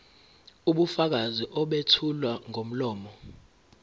ubufakazi obethulwa ngomlomo